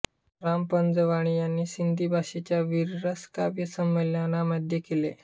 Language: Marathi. राम पंजवाणी यांनी सिंधी भाषेच्या वीररस काव्य संमेलनामध्ये केले